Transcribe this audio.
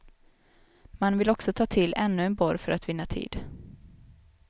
Man vill också ta till ännu en borr för att vinna tid.